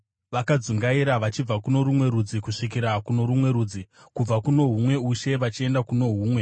vakadzungaira vachibva kuno rumwe rudzi kusvikira kuno rumwe rudzi. Kubva kuno humwe ushe vachienda kuno humwe.